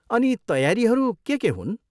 अनि तयारीहरू के के हुन्?